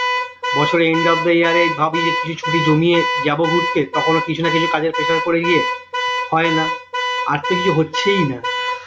বছরে end of the year এ ভাবি যে কিছু ছুটি জমিয়ে যাব ঘুরতে তখনও কিছু না কিছু কাজের pressure পরে গিয়ে হয় না আর তো কিছু হচ্ছেই না,